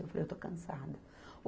Eu falei, eu estou cansada.